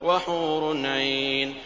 وَحُورٌ عِينٌ